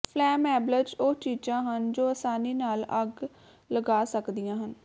flammables ਉਹ ਚੀਜ਼ਾਂ ਹਨ ਜੋ ਅਸਾਨੀ ਨਾਲ ਅੱਗ ਲਗਾ ਸਕਦੀਆਂ ਹਨ